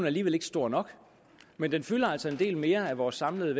alligevel ikke stor nok men den fylder altså en del mere af vores samlede